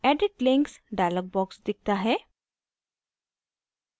edit links dialog box दिखता है